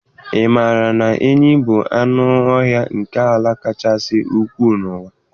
Ị maara na enyí bụ anụ ọhịa nke ala kasị ukwuu n'ụwa?.